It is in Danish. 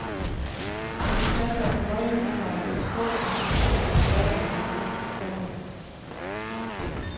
Jeg fortalte om den høje husleje, og de spurgte til min indtægt, min datter og mine økonomiske forhold.